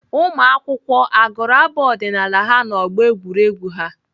Ụmụakwụkwọ agụrụ abụ ọdịnaala ha n'ọgbọ egwuregwu ha?